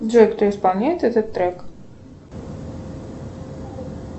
джой кто исполняет этот трек